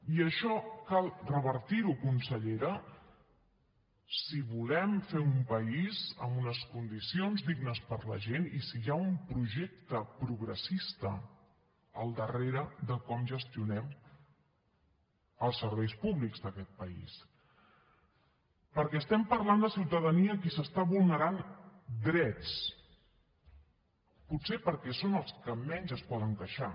i això cal revertir ho consellera si volem fer un país amb unes condicions dignes per a la gent i si hi ha un projecte progressista al darrere de com gestionem els serveis públics d’aquest país perquè estem parlant de ciutadania a qui s’està vulnerant drets potser perquè són els que menys es poden queixar